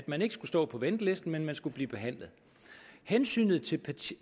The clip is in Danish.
man ikke skulle stå på venteliste men man skulle blive behandlet hensynet til